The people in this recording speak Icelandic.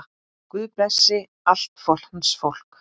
Guð blessi allt hans fólk.